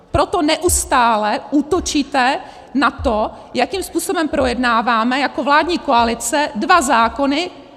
Proto neustále útočíte na to, jakým způsobem projednáváme jako vládní koalice dva zákony.